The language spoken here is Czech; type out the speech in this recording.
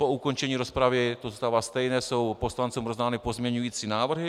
Po ukončení rozpravy - to zůstává stejné - jsou poslancům rozdány pozměňující návrhy.